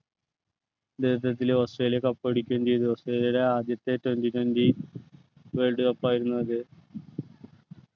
നേതൃത്വത്തിൽ Australia cup അടിക്കുകയും ചെയ്തു ഓസ്‌ട്രേലിയയുടെ ആദ്യത്തെ twenty twenty world cup ആയിരുന്നു അത്